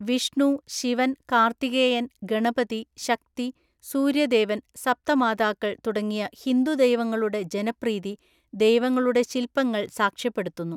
വിഷ്ണു, ശിവൻ, കാർത്തികേയൻ, ഗണപതി, ശക്തി, സൂര്യദേവൻ, സപ്തമാതാക്കൾ തുടങ്ങിയ ഹിന്ദു ദൈവങ്ങളുടെ ജനപ്രീതി ദൈവങ്ങളുടെ ശിൽപങ്ങൾ സാക്ഷ്യപ്പെടുത്തുന്നു.